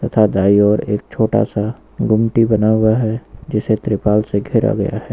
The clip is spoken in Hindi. तथा दाएं और एक छोटा सा गुमटी बना हुआ है जिसे त्रिपाल से घेरा गया है।